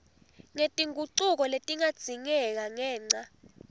ngetingucuko letingadzingeka ngenca